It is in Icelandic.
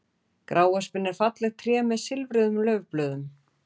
gráöspin er fallegt tré með silfruðum laufblöðum